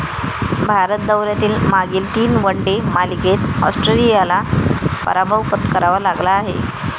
भारत दौऱ्यातील मागील तीन वन डे मालिकेत ऑस्ट्रेलियाला पराभव पत्करावा लागला आहे.